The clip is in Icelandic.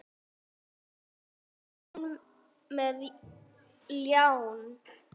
Manninn með ljáinn.